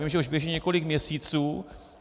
Vím, že už běží několik měsíců.